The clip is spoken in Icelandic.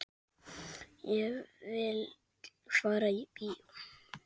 Ég vil fara í bíó